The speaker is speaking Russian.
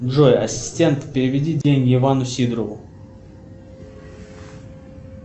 джой ассистент переведи деньги ивану сидорову